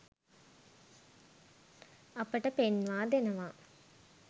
අපට පෙන්වා දෙනවා.